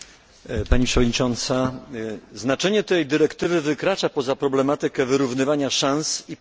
Znaczenie tej dyrektywy wykracza poza problematykę wyrównywania szans i pomocy dla kobiet w okresie macierzyństwa.